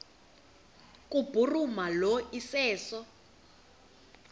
kubhuruma lo iseso